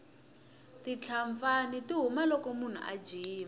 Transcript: titlapfani ti huma loko munhu a jima